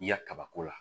I ya kabako la